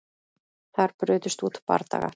Þar brutust út bardagar